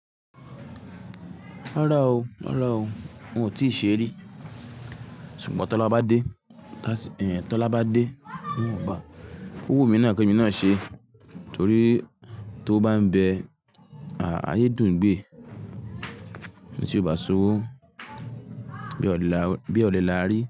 Ra o, ra o. Ohun ti se ri. Sugbon Tola ba de, Tasi, eh, Tola ba de, n o gba. Owu mi naa ki emi naa se tori ti owo ba n be, ah, aye dun gbe ti o ba soowo bi o le la, bi o le la ri.